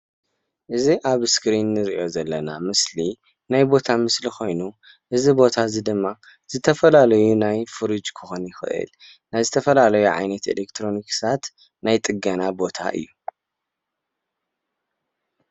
እዚ ኣብ እስክሪን እንሪኦ ዘለና ምስሊ ናይ ቦታ ምስሊ ኮይኑ እዚ ቦታ እዚ ድማ ዝተፈላለዩ ናይ ፍርጅ ክኮን ይክእል ናይ ዝተፈላለዩ ዓይነት ኤሌክትሮኒክሳት ናይ ፅገና ቦታ እዩ፡፡